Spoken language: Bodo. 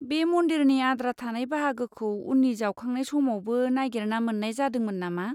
बे मन्दिरनि आद्रा थानाय बाहागोखौ उननि जावखांनाय समावबो नागिरना मोन्नाय जादोंमोन नामा?